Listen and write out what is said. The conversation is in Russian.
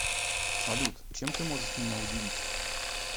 салют чем ты можешь меня удивить